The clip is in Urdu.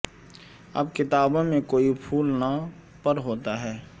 اب کتابوں میں کوئی پھول نہ پر ہوتا ہے